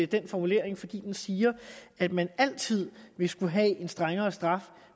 den formulering fordi den siger at man altid vil skulle have en strengere straf